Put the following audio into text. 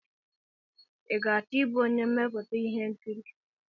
I ga-achọ ịbụ onye mmepụta ihe nkiri?